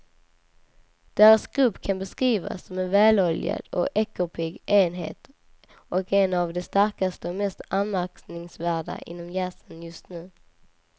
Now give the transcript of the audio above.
Deras grupp kan beskrivas som en väloljad och ekorrpigg enhet och en av de starkaste och mest anmärkningsvärda inom jazzen just nu.